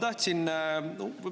Aitäh!